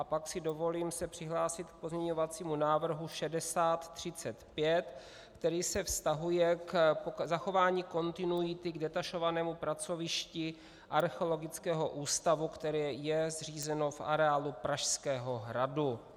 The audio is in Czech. A pak si dovolím se přihlásit k pozměňovacímu návrhu 6035, který se vztahuje k zachování kontinuity k detašovanému pracovišti Archeologického ústavu, které je zřízeno v areálu Pražského hradu.